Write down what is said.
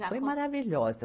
Ah, foi maravilhosa.